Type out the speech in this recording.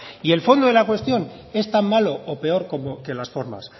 y el fondo de la cuestión es tan malo o peor como que las formas